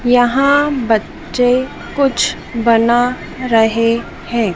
यहां बच्चे कुछ बना रहे हैं।